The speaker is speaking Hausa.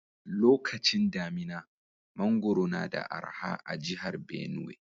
Lokacin damina, mangoro na da araha a'jihar Benue.